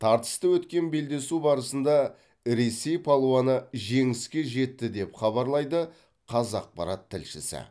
тартысты өткен белдесу барысында ресей палуаны жеңіске жетті деп хабарлайды қазақпарат тілшісі